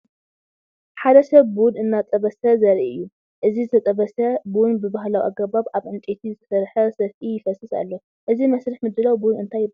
ሓደ ሰብ ቡን እናጠበሰ ዘርኢ እዩ፤ እቲ ዝተጠበሰ ቡን ብባህላዊ ኣገባብ ኣብ ዕንጨይቲ ዝተሰርሐ ሰፍኢ ይፈስስ ኣሎ። እዚ መስርሕ ምድላው ቡን እንታይ ይበሃል?